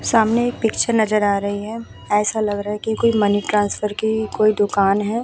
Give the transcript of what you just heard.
सामने एक पिक्चर नजर आ रही है ऐसा लग रहा है की कोई मनी ट्रांसफर की दुकान है।